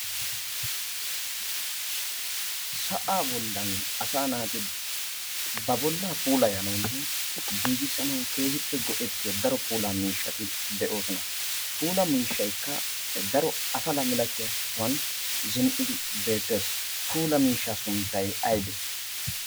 sa'aa bollan asa naati ba bollaa puula yanoonne giigissanau keehippe go'ettiyo daro puula miishshati de'oosona .puula miishshaykka daro afala milatiyaa sohuwan zin'idi beettes puula miishsha sunttay aybee?